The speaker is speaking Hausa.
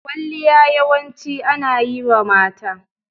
Kwalliya yawanci ana yi wa mata.